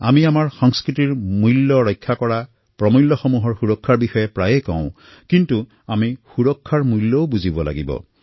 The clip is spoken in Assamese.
নিজৰ সংস্কৃতিত আমি মূল্যৰ ৰক্ষা সুৰক্ষাৰ মূল্যৰ বিষয়েতো প্ৰায়েই কথা কওঁ কিন্তু আমি সুৰক্ষাৰ মূল্যও বুজি পাব লাগিব